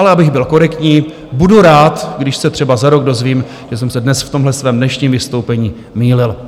Ale abych byl korektní, budu rád, když se třeba za rok dozvím, že jsem se dnes v tomhle svém dnešním vystoupení mýlil.